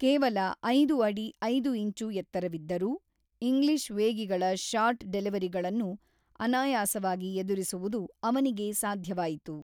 ಕೇವಲ ಐದು ಅಡಿ ಐದು ಇಂಚು ಎತ್ತರವಿದ್ದರೂ, ಇಂಗ್ಲಿಷ್ ವೇಗಿಗಳ ಶಾರ್ಟ್‌ ಡೆಲಿವರಿಗಳನ್ನು ಅನಾಯಾಸವಾಗಿ ಎದುರಿಸುವುದು ಅವನಿಗೆ ಸಾಧ್ಯವಾಯಿತು.